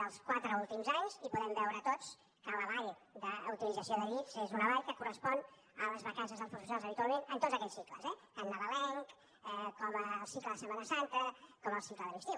dels quatre últims anys i podem veure tots que la vall d’utilització de llits és una vall que correspon a les vacances dels professionals habitualment en tots aquells cicles eh tant nadalenc com el cicle de setmana santa com el cicle de l’estiu